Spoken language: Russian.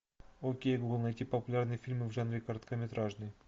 окей гугл найти популярные фильмы в жанре короткометражный